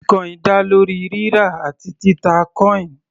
Bitcoin dá lórí rírà àti títà coin.